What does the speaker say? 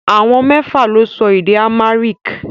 Àwọn mẹ́fà lè sọ èdè Amharic